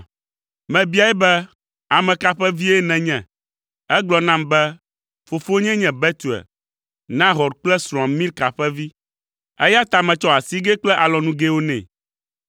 “Mebiae be, ‘Ame ka ƒe vie nènye?’ “Egblɔ nam be, ‘Fofonyee nye Betuel, Nahor kple srɔ̃a Milka ƒe vi.’ “Eya ta metsɔ asigɛ kple alɔnugɛwo nɛ.